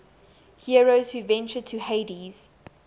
heroes who ventured to hades